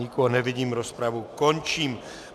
Nikoho nevidím, rozpravu končím.